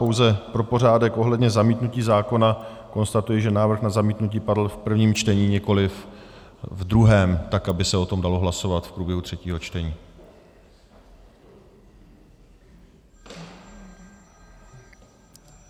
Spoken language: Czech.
Pouze pro pořádek ohledně zamítnutí zákona konstatuji, že návrh na zamítnutí padl v prvním čtení, nikoliv v druhém, tak aby se o tom dalo hlasovat v průběhu třetího čtení.